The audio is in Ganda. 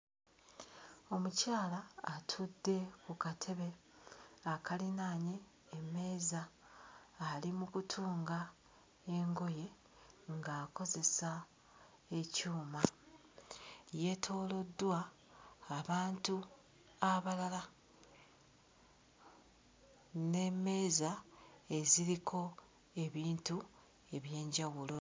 Omukyala atudde ku katebe akalinaanye emmeeza ali mu kutunga engoye ng'akozesa ekyuma. Yeetooloddwa abantu abalala n'emmeeza eziriko ebintu eby'enjawulo.